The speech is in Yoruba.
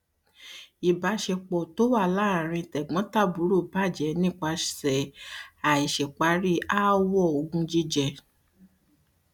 ìbáṣepọ tí ó wà láàrin tẹgbọntàbúrò bàjẹ nípasẹ àìparí ááwọ ogún jíjẹ